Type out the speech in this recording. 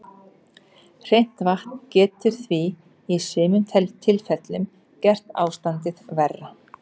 Hreint vatn getur því í sumum tilfellum gert ástandið verra.